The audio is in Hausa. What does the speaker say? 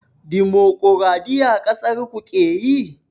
Dimukuraɗiyya ƙasarku keyi?